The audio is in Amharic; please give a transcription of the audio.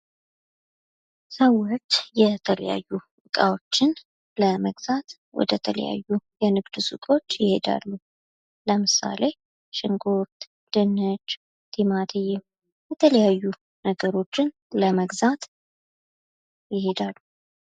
ሰዎች የተለያዩ እቃዎችን ለመግዛት ወደ ተለያዩ የንግድ ሱቆች ይሄዳሉ ለምሳሌ ሽንኩርት ድንች ቲማቲም የተለያዩ ነገሮችን ለመግዛት ይሄዳሉ ።